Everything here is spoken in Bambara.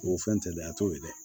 O fɛn telefɔn a t'o ye dɛ